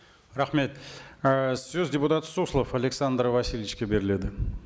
рахмет ы сөз депутат суслов александр васильевичке беріледі